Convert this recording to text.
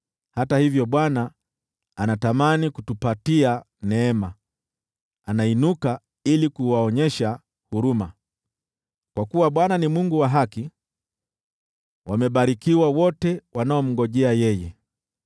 Hata hivyo Bwana anatamani kutupatia neema, anainuka ili kuwaonyesha huruma. Kwa kuwa Bwana ni Mungu wa haki. Wamebarikiwa wote wanaomngojea yeye!